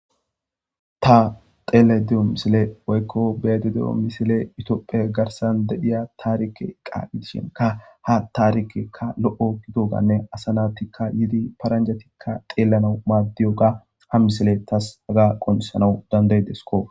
Ta teele di'o misile woykko beede de'o misile utoopphe garsan dedhiya taarike eqa gidishinka ha taarikekka lo'o gido ganne asanatikka yidi paranjatikka xeelana maaddiyoga ha misile tas aga qonsanawu dandaydesko.